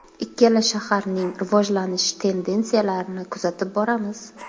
Ikkala shaharning rivojlanish tendensiyalarini kuzatib boramiz.